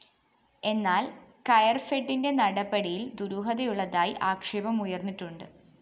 എന്നാല്‍ കയര്‍ഫെഡിന്റെ നടപടിയില്‍ ദുരൂഹതയുള്ളതായി ആക്ഷേപം ഉയര്‍ന്നിട്ടുണ്ട്‌